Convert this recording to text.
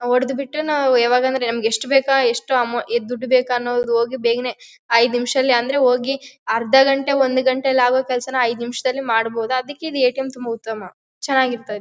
ಹೊಡ್ದ್ ಬಿಟ್ಟು ನಾವು ಯಾವಾಗ ಅಂದ್ರೆ ನಮಗೆ ಎಸ್ಟ್ ಬೇಕಾ ಎಷ್ಟು ಅಮೂವ್ ದುಡ್ಡ್ ಬೇಕಾ ಅನ್ನೋದು ಹೋಗಿ ಬೇಗನೆ ಐದು ನಿಮಿಷದಲ್ಲಿ ಅಂದ್ರೆ ಹೋಗಿ ಅರ್ಧ ಗಂಟೆ ಒಂದ್ ಗಂಟೆಯಲ್ಲಿ ಆಗೋ ಕೆಲಸನ ಐದು ನಿಮಿಷದಲ್ಲಿ ಮಾಡಹುದು ಅದಿಕ್ಕೆ ಈ ಎ.ಟಿ.ಎಮ್ ತುಂಬಾ ಉತ್ತಮ ಚೆನ್ನಾಗಿ ಇರ್ತೆ --